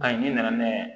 Ayi n'i nana n'a ye